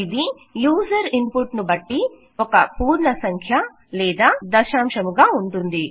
ఇది user input ను బట్టి ఒక పూర్ణసంఖ్య లేదా దశాంశము గా ఉంటుంది